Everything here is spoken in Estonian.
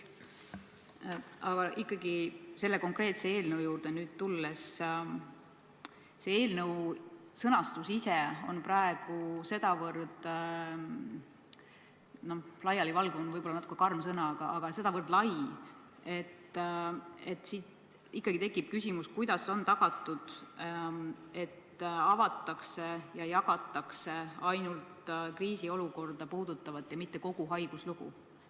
Aga ikkagi, tulles selle konkreetse eelnõu juurde, on selle sõnastus ise praegu sedavõrd laialivalgunud – see on võib-olla natuke karm sõna, aga ütleme siis, et sedavõrd lai –, et tekib ikkagi küsimus, kuidas on tagatud, et avatakse ja jagatakse ainult kriisiolukorda puudutavat ja mitte kogu haiguslugu.